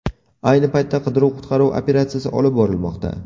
Ayni paytda qidiruv-qutqaruv operatsiyasi olib borilmoqda.